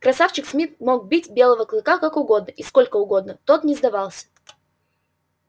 красавчик смит мог бить белого клыка как угодно и сколько угодно тот не сдавался